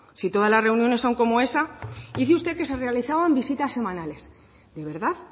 si todas las reuniones son como esa dice usted que se realizaban visitas semanales de verdad